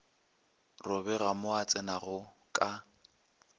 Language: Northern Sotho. robega mo o tsenago ka